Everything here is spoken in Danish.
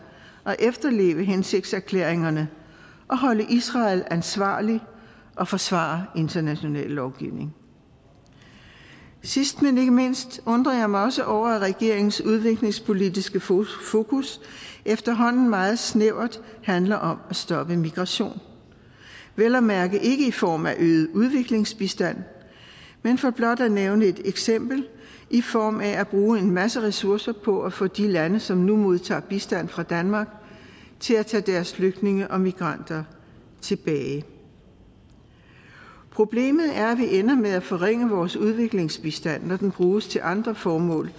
at efterleve hensigtserklæringerne og holde israel ansvarlig og forsvare international lovgivning sidst men ikke mindst undrer jeg mig også over at regeringens udviklingspolitiske fokus efterhånden meget snævert handler om at stoppe migration vel at mærke ikke i form af øget udviklingsbistand men for blot at nævne et eksempel i form af at bruge en masse ressourcer på at få de lande som nu modtager bistand fra danmark til at tage deres flygtninge og migranter tilbage problemet er at vi ender med at forringe vores udviklingsbistand når den bruges til andre formål